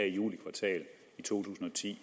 juli kvartal to tusind og ti